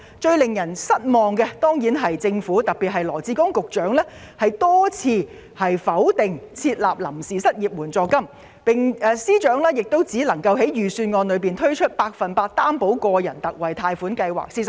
最令人失望的，自然是羅致光局長多次拒絕設立臨時失業援助金，而司長隨之只在預算案中推出百分百擔保個人特惠貸款計劃。